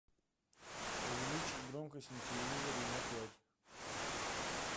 увеличить громкость на телевизоре на пять